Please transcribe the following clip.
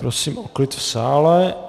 Prosím o klid v sále.